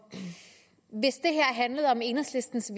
handlede om enhedslistens